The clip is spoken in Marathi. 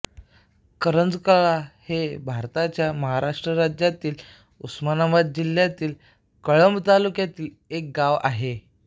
करंजकल्ला हे भारताच्या महाराष्ट्र राज्यातील उस्मानाबाद जिल्ह्यातील कळंब तालुक्यातील एक गाव आहे